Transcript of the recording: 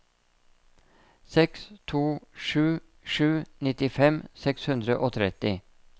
seks to sju sju nittifem seks hundre og tretti